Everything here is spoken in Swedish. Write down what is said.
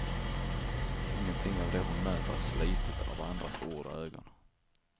Ingenting av det hon möter är slitet av andras ord och ögon.